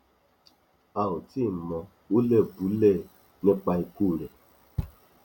a ò tíì mọ hùlẹbúlẹ nípa ikú rẹ